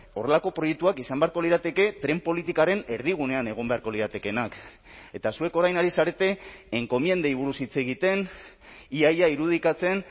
horrelako proiektuak izan beharko lirateke tren politikaren erdigunean egon beharko liratekeenak eta zuek orain ari zarete enkomiendei buruz hitz egiten ia ia irudikatzen